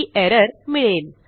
ही error मिळेल